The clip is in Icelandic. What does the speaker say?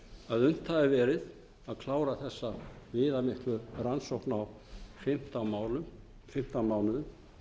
að unnt hafi verið að klára þessa viðamiklu rannsókn á fimmtán mánuðum